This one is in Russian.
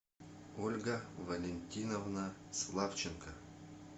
ольга валентиновна славченко